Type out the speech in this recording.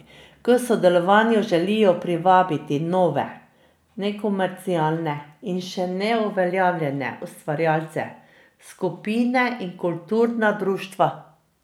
K sodelovanju želijo privabiti nove, nekomercialne in še neuveljavljene ustvarjalce, skupine in kulturna društva.